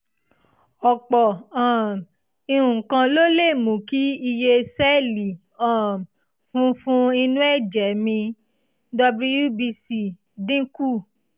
ọ̀pọ̀ um nǹkan ló lè mú kí iye sẹ́ẹ̀lì um funfun inú ẹ̀jẹ̀ mi (wbc) dín kù